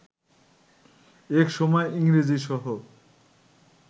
একসময় ইংরেজি সহ